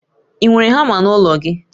I nwere hama n'ụlọ gi?